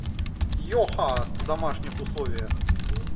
йоха в домашних условиях